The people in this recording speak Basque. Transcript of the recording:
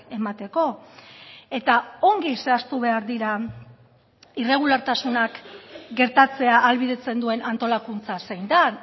emateko eta ongi zehaztu behar dira irregulartasunak gertatzea ahalbidetzen duen antolakuntza zein den